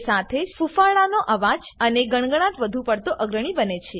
એ સાથે જ ફૂફાડાનો અવાજ અને ગણગણાટ વધુ પડતો અગ્રણી બને છે